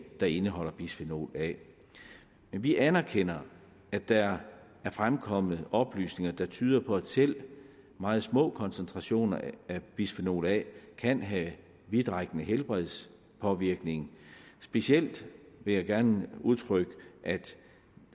der indeholder bisfenol a men vi anerkender at der er fremkommet oplysninger der tyder på at selv meget små koncentrationer af bisfenol a kan have en vidtrækkende helbredspåvirkning specielt vil jeg gerne udtrykke at